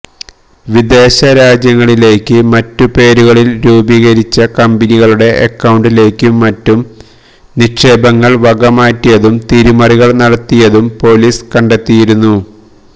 വിദേശ രാജ്യങ്ങളിലേക്ക് മറ്റു പേരുകളില് രൂപീകരിച്ച കമ്പനികളുടെ അക്കൌണ്ടിലേക്കും മറ്റും നിക്ഷേപങ്ങള് വകമാറ്റിയതും തിരിമറികള് നടത്തിയതും പോലിസ് കണ്ടെത്തിയിരുന്നു